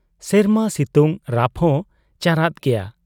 ᱥᱮᱨᱢᱟ ᱥᱤᱛᱩᱝ ᱨᱟᱯᱦᱚᱸ ᱪᱟᱨᱟᱫ ᱜᱮᱭᱟ ᱾